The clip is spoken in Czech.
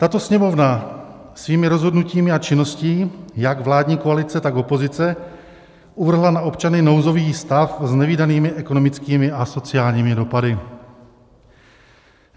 Tato Sněmovna svými rozhodnutími a činností jak vládní koalice, tak opozice uvrhla na občany nouzový stav s nevídanými ekonomickými a sociálními dopady.